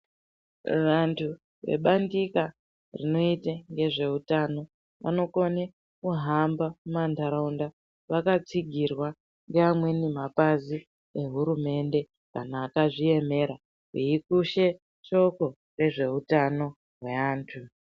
Vantu vebandika rinoita ngezvehutano vanokona kuhamba manharaunda vakatsigirwa ngaamweni mapazi vehurumende kana akazviemera veikusha shoko rezveutano neantu.